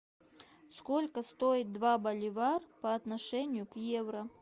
сколько стоит два боливар по отношению к евро